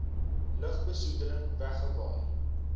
lugbe soedeling wegwaai